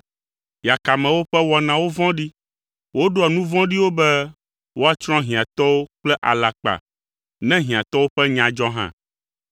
Yakamewo ƒe wɔnawo vɔ̃ɖi. Woɖoa nu vɔ̃ɖiwo be woatsrɔ̃ hiãtɔwo kple alakpa, ne hiãtɔwo ƒe nya dzɔ hã.